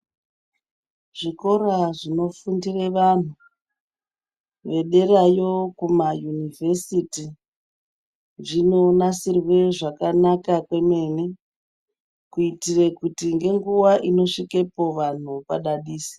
Zvikora zvinofundire vantu zvederayo kuma univhesiti zvinonasirwe zvakanaka kwemene kuitire ngenguwa inosvikepo vantu padadise.